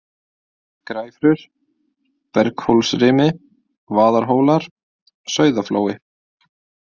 Græfrur, Berghólsrimi, Vaðarhólar, Sauðaflói